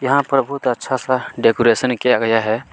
यहाँ पर बहुत अच्छा सा डेकरैशन किया गया है।